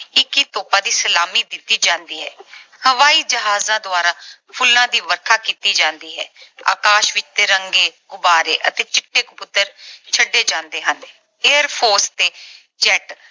ਇੱਕੀ ਤੋਪਾਂ ਦੀ ਸਲਾਮੀ ਦਿੱਤੀ ਜਾਂਦੀ ਹੈ। ਹਵਾਈ ਜਹਾਜਾਂ ਦੁਆਰਾ ਫੁੱਲਾਂ ਦੀ ਵਰਖਾ ਕੀਤੀ ਜਾਂਦੀ ਹੈ। ਆਕਾਸ਼ ਵਿੱਚ ਤਿਰੰਗੇ, ਗੁਬਾਰੇ ਅਤੇ ਚਿੱਟੇ ਕਬੂਤਰ ਛੱਡੇ ਜਾਂਦੇ ਹਨ। Air Force ਤੇ jet